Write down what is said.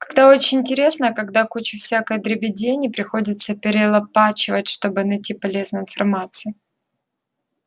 когда очень интересно а когда кучу всякой дребедени приходится перелопачивать чтобы найти полезную информацию